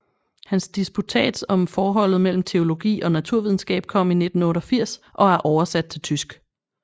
Hans disputats om forholdet mellem teologi og naturvidenskab kom i 1988 og er oversat til tysk